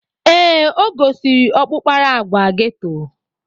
Ee, o gosiri ọkpụkpara agwa geto.